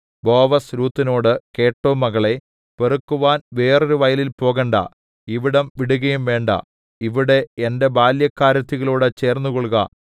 ബോവസ് രൂത്തിനോടു കേട്ടോ മകളേ പെറുക്കുവാൻ വേറൊരു വയലിൽ പോകണ്ടാ ഇവിടം വിടുകയും വേണ്ടാ ഇവിടെ എന്റെ ബാല്യക്കാരത്തികളോടു ചേർന്നുകൊൾക